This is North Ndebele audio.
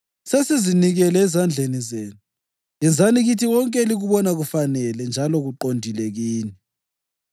Sesizinikele ezandleni zenu. Yenzani kithi konke elikubona kufanele njalo kuqondile kini.”